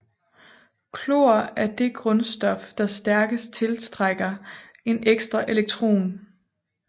Klor er det grundstof der stærkest tiltrækker en ekstra elektron